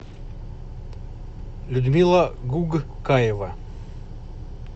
людмила гугкаева